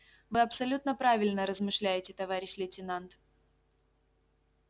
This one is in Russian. вы абсолютно правильно размышляете товарищ лейтенант